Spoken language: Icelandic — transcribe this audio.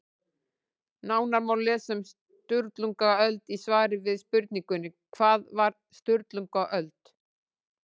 Nánar má lesa um Sturlungaöld í svari við spurningunni Hvað var Sturlungaöld?